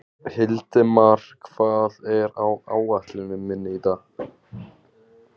Hildimar, hvað er á áætluninni minni í dag?